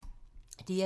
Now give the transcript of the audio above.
DR2